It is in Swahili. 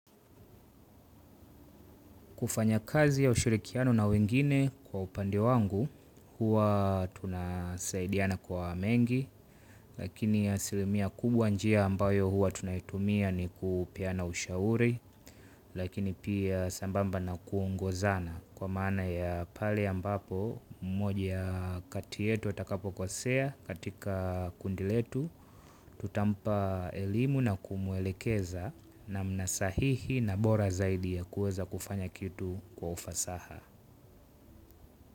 Kufanya kazi ya ushirikiano na wengine kwa upande wangu, huwa tunasaidiana kwa mengi, lakini asilimia kubwa njia ambayo huwa tunaitumia ni kupeana ushauri, lakini pia sambamba na kuongozana. Kwa maana ya pale ambapo, mmoja kati yetu atakapokosea katika kundi letu, tutampa elimu na kumuwelekeza namna sahihi na bora zaidi ya kuweza kufanya kitu kwa ufasaha.